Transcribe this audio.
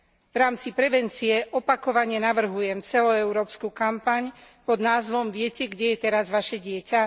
V rámci prevencie opakovane navrhujem celoeurópsku kampaň pod názvom Viete, kde je teraz vaše dieťa?